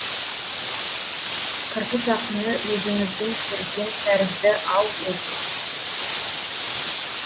қырғыз ақыны өзіңіздің көрген тәрізді ау өзі